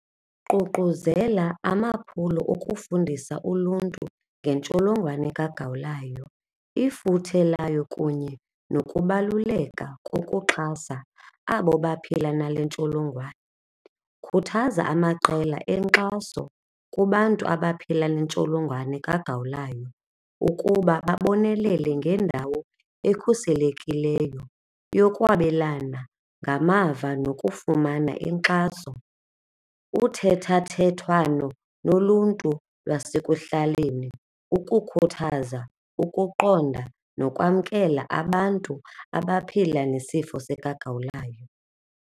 Ququzelela amaphulo okufundisa uluntu ngentsholongwane kaGawulayo ifuthe layo kunye nokubaluleka kokuxhasa abo baphila nale ntsholongwane. Khuthaza amaqela enkxaso kubantu abaphila nentsholongwane kaGawulayo ukuba babonelele ngendawo ekhuselekileyo yokwabelana ngamava nokufumana inkxaso. Uthethathethwano noluntu lwasekuhlaleni ukukhuthaza ukuqonda nokwamkela abantu abaphila nesifo sikaGawulayo.